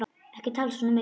Ekki tala svona mikið!